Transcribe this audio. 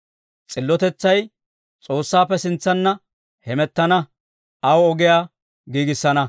S'illotetsay S'oossaappe sintsanna heemettana; aw ogiyaa giigissana.